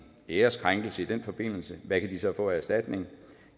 æreskrænkelse i den forbindelse hvad kan de så få i erstatning